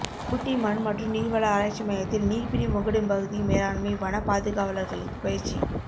ஊட்டி மண் மற்றும் நீர்வள ஆராய்ச்சி மையத்தில் நீர்பிரி முகடு பகுதி மேலாண்மை வன பாதுகாவலர்களுக்கு பயிற்சி